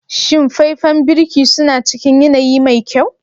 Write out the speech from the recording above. Shin faifen birki suna cikin yanayi mai kyau?